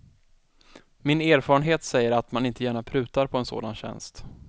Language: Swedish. Min erfarenhet säger att man inte gärna prutar på en sådan tjänst.